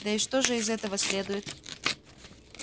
да и что же из этого следует